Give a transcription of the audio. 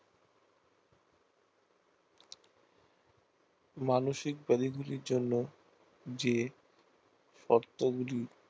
মানুসিক রোগী গুলির জন্যে যে শর্ত গুলি